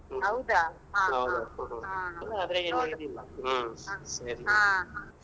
ಹೌದಾ ಹ ಹ ಹಾ.